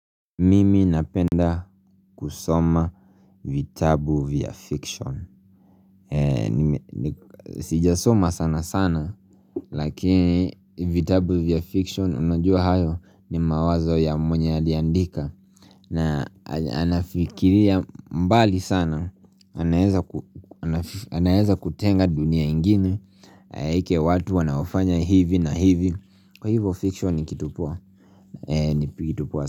Mimi napenda kusoma vitabu vya fiction sijasoma sana sana Lakini vitabu vya fiction unajua hayo ni mawazo ya mwenye aliandika na anafikiria mbali sana anaweza ku anaeza kutenga dunia ingine Aeke watu wanaofanya hivi na hivi Kwa hivo fiction ni kitu poa ni kitu poa sana.